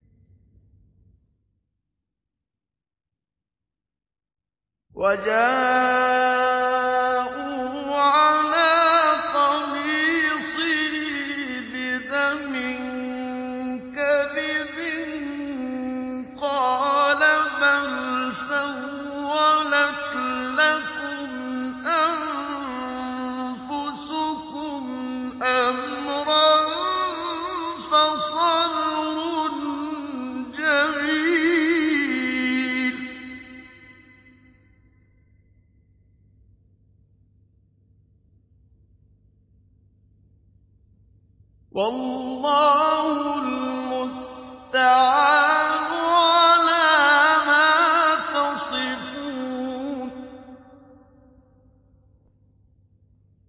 وَجَاءُوا عَلَىٰ قَمِيصِهِ بِدَمٍ كَذِبٍ ۚ قَالَ بَلْ سَوَّلَتْ لَكُمْ أَنفُسُكُمْ أَمْرًا ۖ فَصَبْرٌ جَمِيلٌ ۖ وَاللَّهُ الْمُسْتَعَانُ عَلَىٰ مَا تَصِفُونَ